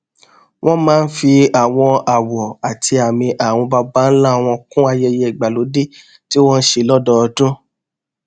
wón máa ń fi àwọn àwò àti àmì àwọn babańlá wọn kún ayẹyẹ ìgbàlódé tí wọn n ṣe lódọọdún